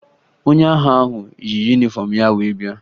Onye agha ahụ yi yunifọmụ ya wee bịa